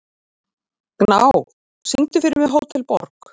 Gná, syngdu fyrir mig „Hótel Borg“.